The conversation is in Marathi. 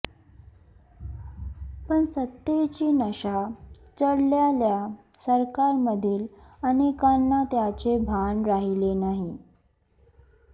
पण सत्तेची नशा चढलेल्या सरकारमधील अनेकांना त्याचे भान राहिले नाही